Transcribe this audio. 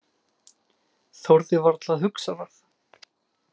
Þorði varla að hugsa það.